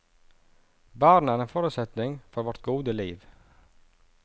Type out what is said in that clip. Barna er en forutsetning for vårt gode liv.